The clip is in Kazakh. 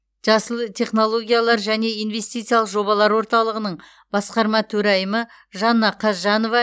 жасыл технологиялар және инвестициялық жобалар орталығының басқарма төрайымы жанна қазжанова